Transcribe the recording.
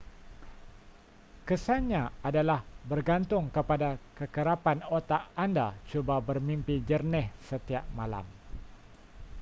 kesan nya adalah bergantung kepada kekerapan otak anda cuba bermimpi jernih setiap malam